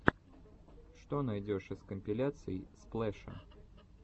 что найдешь из компиляций сплэша